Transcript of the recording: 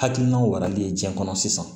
Hakilinaw warali ye diɲɛ kɔnɔ sisan